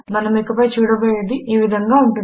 మనము ఇక పై చూడబోయేది ఈ విధంగా ఉంటుంది